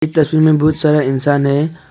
तस्वीर में बहुत सारा इंसान है।